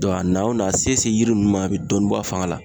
Dɔn a na o na a se o se yiri nunnu ma a be dɔɔnin bɔ a fanga la